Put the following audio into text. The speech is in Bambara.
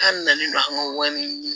K'an nalen don an ka wari ɲini